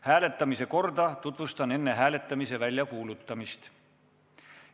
Hääletamise korda tutvustan enne hääletamise väljakuulutamist.